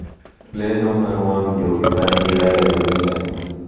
Lendo mar wang' jowi mar Dira ya Dunia